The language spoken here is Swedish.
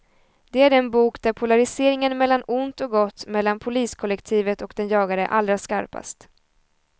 Det är den bok där polariseringen mellan ont och gott, mellan poliskollektivet och den jagade är allra skarpast.